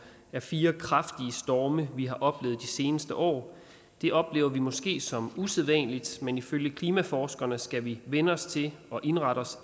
er fire kraftige storme vi har oplevet de seneste år det oplever vi måske som usædvanligt men ifølge klimaforskerne skal vi vænne os til og indrette os